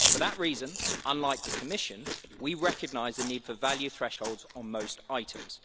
For that reason unlike the Commission we recognise the need for value thresholds on most items.